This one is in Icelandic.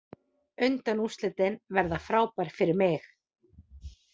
Undanúrslitin verða frábær fyrir mig.